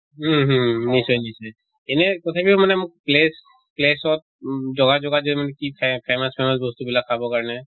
উম hmm নিশ্চয় নিশ্চয়। এনে তথাপিও মানে মোক place place ত জগা জগাত যে মানে কি ফে famous famous বস্তু বিলাক খাবৰ কাৰনে